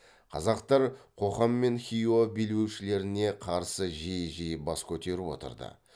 қазақтар қоқан мен хиуа билеушілеріне қарсы жиі жиі бас көтеріп отырды